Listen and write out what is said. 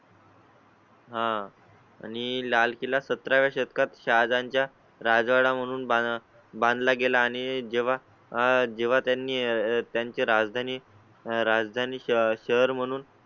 हां आणि लाल किल्ला सतरा व्या शतकात शाळांच्या राजवाडा म्हणून बांधला गेला आणि जेव्हा आह जेव्हा त्यांनी त्यांचे राजधानी राजधानी शहर म्हणून